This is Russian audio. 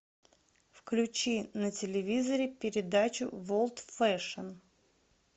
включи на телевизоре передачу волд фэшн